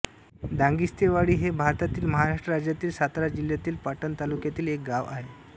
दांगिस्तेवाडी हे भारतातील महाराष्ट्र राज्यातील सातारा जिल्ह्यातील पाटण तालुक्यातील एक गाव आहे